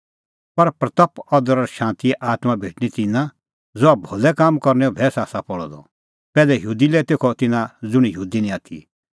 पर महिमां अदर और शांतीए आत्मां भेटणीं तिन्नां ज़हा भलै कामां करनैओ भैस्स आसा पल़अ द पैहलै यहूदी लै तेखअ तिन्नां ज़ुंण यहूदी निं आथी